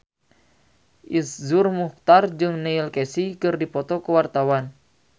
Iszur Muchtar jeung Neil Casey keur dipoto ku wartawan